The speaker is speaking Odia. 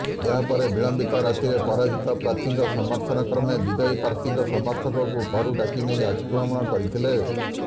ଏହାପରେ ବିଳମ୍ବିତ ରାତିରେ ପରାଜିତ ପ୍ରାର୍ଥୀଙ୍କ ସମର୍ଥକମାନେ ବିଜୟୀ ପ୍ରାର୍ଥୀଙ୍କ ସମର୍ଥକଙ୍କୁ ଘରୁ ଡାକି ନେଇ ଆକ୍ରମଣ କରିଥିଲେ